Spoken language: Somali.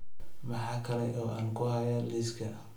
maxaa kale oo aan ku hayaa liiska